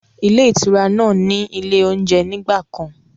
Ilé ìtura náà ni ilé oúnjẹ ní ìgbàkan.